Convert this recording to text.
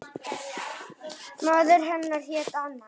Móðir hennar hét Anna